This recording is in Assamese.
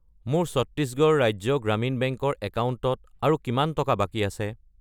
মোৰ ছত্তিশগড় ৰাজ্য গ্ৰামীণ বেংক ৰ একাউণ্টত আৰু কিমান টকা বাকী আছে?